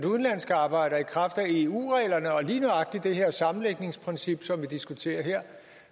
udenlandske arbejdere i kraft af eu reglerne og lige nøjagtig det sammenlægningsprincip som vi diskuterer her